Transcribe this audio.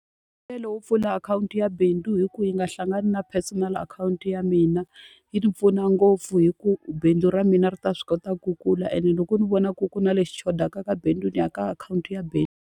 Mbuyelo wo pfula akhawunti ya bindzu hi ku yi nga hlangani na personal akhawunti ya mina, yi ni pfuna ngopfu hikuva bindzu ra mina ri ta swi kota ku kula ene loko ni vona ku ku na lexi xo xotaka ka bindzu, ni ya ka akhawunti ya bindzu.